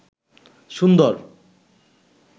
সুন্দর